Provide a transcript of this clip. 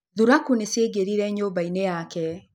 Thuraku nĩ ciaingĩrire nyũmba-inĩ yake.